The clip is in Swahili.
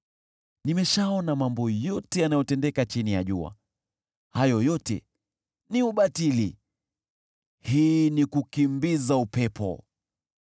Nimeshaona mambo yote yanayotendeka chini ya jua, hayo yote ni ubatili, hii ni kukimbiza upepo.